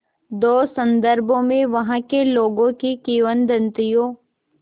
दो संदर्भों में वहाँ के लोगों की किंवदंतियों